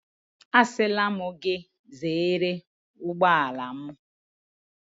Asịla m gị ka ị zere ụgbọala m.